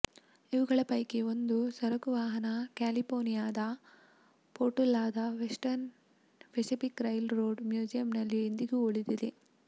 ಇವುಗಳ ಪೈಕಿ ಒಂದು ಸರಕುವಾಹನ ಕ್ಯಾಲಿಪೋರ್ನಿಯಾದ ಪೊರ್ಟೊಲಾದ ವೆಸ್ಟರ್ನ್ ಪೆಸಿಫಿಕ್ ರೈಲು ರೋಡ್ ಮ್ಯೂಸಿಯಂನಲ್ಲಿ ಇಂದಿಗೂ ಉಳಿದಿದೆ